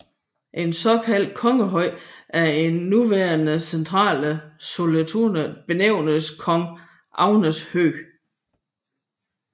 En såkaldt kongehøj i det nuværende centrale Sollentuna benævntes Kung Agnes Hög